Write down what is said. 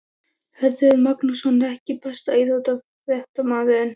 Hörður Magnússon EKKI besti íþróttafréttamaðurinn?